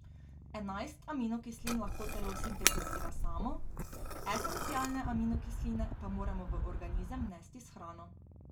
Enajst aminokislin lahko telo sintetizira samo, esencialne aminokisline pa moramo v organizem vnesti s hrano.